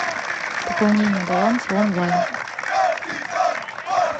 пополнение баланса онлайн